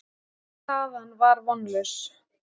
Staðan var vonlaus.